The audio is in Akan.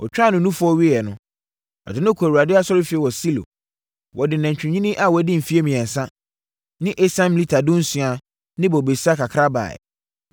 Ɔtwaa no nufoɔ wieeɛ no, ɔde no kɔɔ Awurade asɔrefie wɔ Silo. Wɔde nantwinini a wadi mfeɛ mmiɛnsa ne esiam lita dunsia ne bobesa kakra baeɛ.